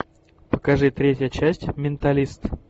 покажи третья часть менталист